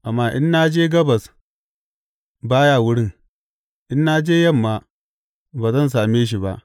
Amma in na je gabas, ba ya wurin; in na je yamma, ba zan same shi ba.